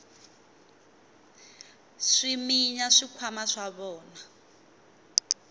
swi minya swikhwama swa vona